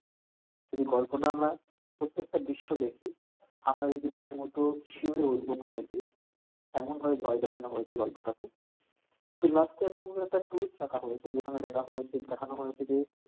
এই গল্পটা আমরা প্রত্যেকটা বিষয়ে দেখি আমরা রীতিমতো শিহুরে উঠবো ভয় পেয়ে এমন ভাবে ভয় দেখানো হয়েছে গল্পটাতে কিন্তু last এ এতো সুন্দর একটা twist দেখা হয়েছে যেখানে দেখা হয়েছে দেখানো হয়েছে যে,